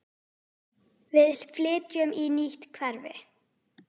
Við flytjum í nýtt hverfi.